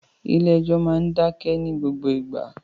Ilé ẹ́jọ́ máa ń dákẹ́ ní gbogbo ìgbà